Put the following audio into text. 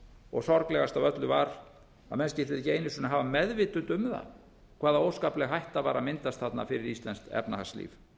og sorglegast af öllu var að menn skyldu ekki einu sinni hafa meðvitund um það hvaða óskapleg hætta var að myndast þarna fyrir íslenskt efnahagslíf